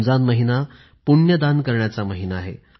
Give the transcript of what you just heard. रमजान महिना पुण्य दान करण्याचा महिना आहे